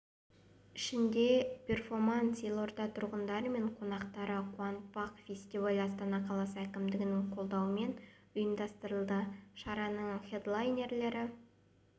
ішінде перформанс елорда тұрғындары мен қонақтарын қуантпақ фестиваль астана қаласы әкімдігінің қолдауымен ұйымдастырылды шараның хедлайнерлері